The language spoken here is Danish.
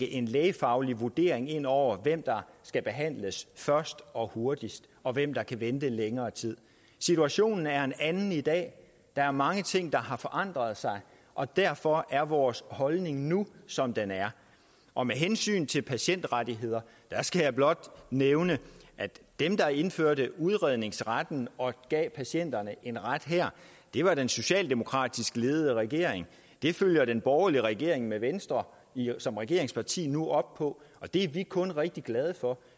en lægefaglig vurdering ind over for hvem der skulle behandles først og hurtigst og hvem der kunne vente længere tid situationen er en anden i dag der er mange ting der har forandret sig og derfor er vores holdning nu som den er og med hensyn til patientrettigheder skal jeg blot nævne at dem der indførte udredningsretten og gav patienterne en ret her var den socialdemokratisk ledede regering det følger den borgerlige regering med venstre som regeringsparti nu op på og det er vi kun rigtig glade for